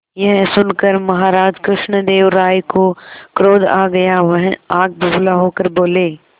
यह सुनकर महाराज कृष्णदेव राय को क्रोध आ गया वह आग बबूला होकर बोले